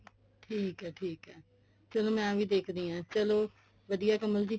ਠੀਕ ਐ ਠੀਕ ਐ ਚਲ ਮੈਂ ਵੀ ਦੇਖਦੀ ਹਾਂ ਚਲੋ ਵਧੀਆਂ ਕਮਲ ਜੀ